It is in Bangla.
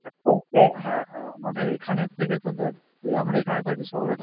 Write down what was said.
হ্যাঁ হ্যাঁ আমাদের এখানের থেকে তো দ্যাখ এই আমরা এখানে থাকি